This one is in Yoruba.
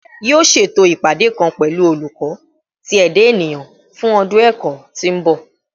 Yoo ṣeto ipade kan pẹlu Oluko ti Eda Eniyan fun ọdun ẹkọ ti n bọ